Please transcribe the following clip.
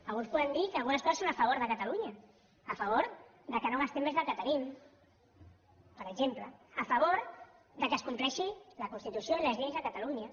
alguns podem dir que algunes coses són a favor de catalunya a favor que no gastem més del que tenim per exemple a favor que es compleixin la constitució i les lleis de catalunya